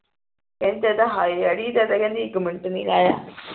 ਕਿਹੰਦੀ ਕਿਹੰਦੀ ਇਕ ਮਿੰਟ ਨੀ ਰਿਹਾ